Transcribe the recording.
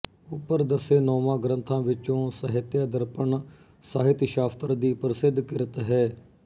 ਉੱਪਰ ਦੱਸੇ ਨੌਵਾਂ ਗ੍ਰੰਥਾਂ ਵਿੱਚੋਂ ਸਾਹਿਤਯ ਦਰਪਣ ਸਾਹਿਤਸ਼ਾਸਤਰ ਦੀ ਪ੍ਰਸਿੱਧ ਕਿਰਤ ਹੈ